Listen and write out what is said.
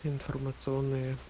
информационные